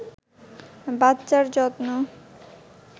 বাচ্চার যত্ন